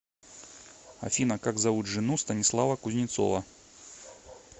афина как зовут жену станислава кузнецова